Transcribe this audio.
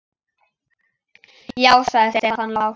Ég veit það nú ekki.